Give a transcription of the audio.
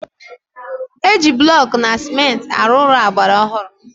Eji blọkụ na cementị arụ Ụlọ agbara ọhụrụ